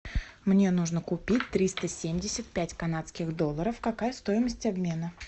мне нужно купить триста семьдесят пять канадских долларов какая стоимость обмена